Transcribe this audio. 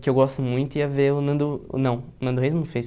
que eu gosto muito, ia ver o Nando... Não, o Nando Reis não fez.